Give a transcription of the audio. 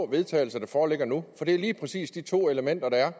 vedtagelse der foreligger nu for det er lige præcis de to elementer der er